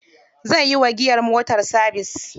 Zai yi wa giyar motar sabis.